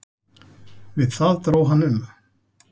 Við það dró hann um.